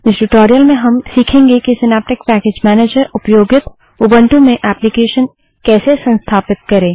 इस ट्यूटोरियल में हम सीखेंगे कि सिनैप्टिक पैकेज मैनेजरउपयोगित उबंटू में एप्लीकेशन कैसे संस्थापित करें